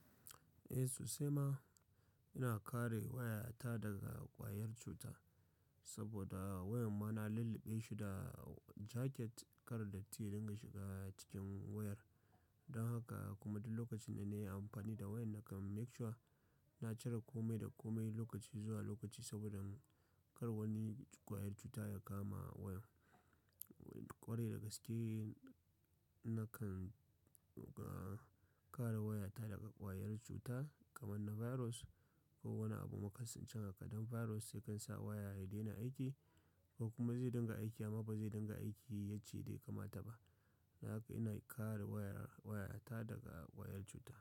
Eh sosai ma, ina kare wayata daga ƙwayar cuta saboda wayar ma na lulluɓe shi da jaket kar dat ti ya dinga shiga cikin wayar. Don haka kuma duk lokacin da na yi amfani da wayar na kan make sure na cire kome da kome lokaci zuwa lokaci saboda kar wani ƙwayar cuta ya kama wayar. Ƙware dagaske na kan, ah, kare wayata daga ƙwayar cuta kamar na virus ko wani abu makasancin hakaɗin. Virus sai kan sa waya ya daina aiki ko kuma zai dinga aiki amma ba zai dinga aiki ya yacce daya kama ta ba. Dan haka ina kare wayar, wayata daga ƙwayar cuta.